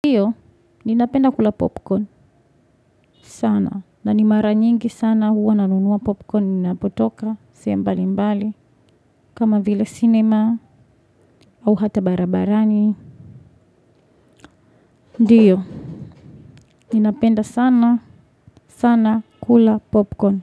Ndiyo ninapenda kula popcorn sana na ni mara nyingi sana huwa nanunuwa popcorn ninapotoka sehemu mbali mbali kama vile cinema au hata barabarani. Ndiyo ninapenda sana sana kula popcorn.